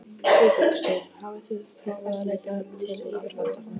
Guðbjörg Sif: Hafið þið prófað að leita til yfirvalda?